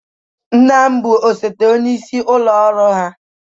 Nna m bụ osote onyeisi ụlọ ọrụ ha.